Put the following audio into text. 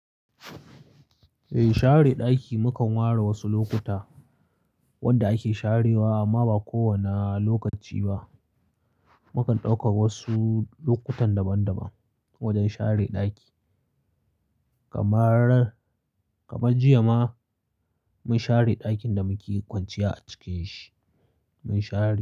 Eh, share ɗaki mukan ware wasu lokuta wanda ake sharewa amma ba kowane lokaci ba. Mukan ɗauka wasu lokutan daban-daban wajen share ɗaki. Kamar, kamar jiya ma mun share ɗakin da muke kwanciya a cikin shi. Mun share.